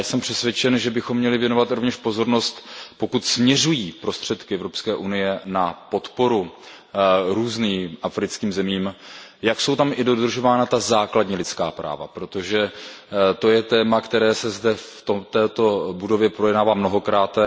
Já jsem přesvědčen, že bychom měli věnovat rovněž pozornost, pokud směřují prostředky EU na podporu různým africkým zemím, jak jsou tam dodržována i ta základní lidská práva, protože to je téma, které se zde v této budově projednává mnohokrát.